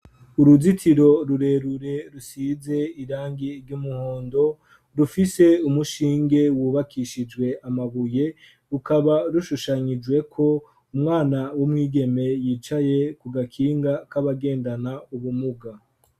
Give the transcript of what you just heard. Uruzitiro rurerure rusize irangi ry'umuhondo rufise umushinge wubakishijwe amabuye rukaba rushushanyijweko umwana w'umwigeme yicaye ku gakinga k'abagendana ubumuga.